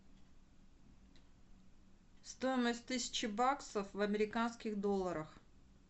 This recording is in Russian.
стоимость тысячи баксов в американских долларах